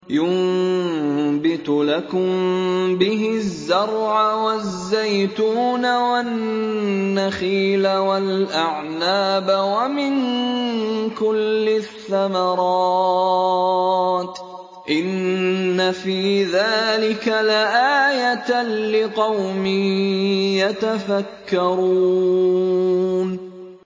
يُنبِتُ لَكُم بِهِ الزَّرْعَ وَالزَّيْتُونَ وَالنَّخِيلَ وَالْأَعْنَابَ وَمِن كُلِّ الثَّمَرَاتِ ۗ إِنَّ فِي ذَٰلِكَ لَآيَةً لِّقَوْمٍ يَتَفَكَّرُونَ